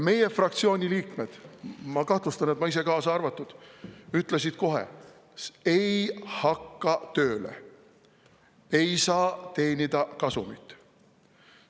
Meie fraktsiooni liikmed – ma kahtlustan, et ma ise kaasa arvatud – ütlesid kohe: "Ei hakka tööle, ei saa teenida kasumit.